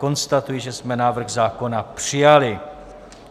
Konstatuji, že jsme návrh zákona přijali.